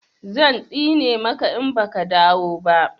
zan tsine maka in baka dawo ba